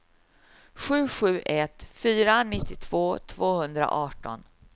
sju sju ett fyra nittiotvå tvåhundraarton